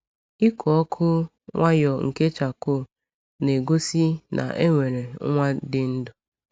Ịkụ ọkụ nwayọọ nke charcoal na-egosi na e nwere nwa dị ndụ.